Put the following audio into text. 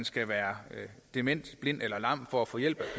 skal være dement blind eller lam for at få hjælp